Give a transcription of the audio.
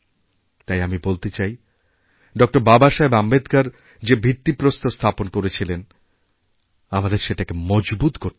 তাই আমি বলতে চাই ড বাবাসাহেবআম্বেদকর যে ভিত্তিপ্রস্তর স্থাপন করেছিলেন আমাদের সেটাকে মজবুত করতে হবে